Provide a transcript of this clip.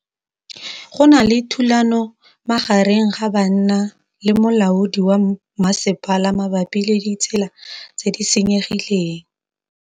Go na le thulanô magareng ga banna le molaodi wa masepala mabapi le ditsela tse di senyegileng.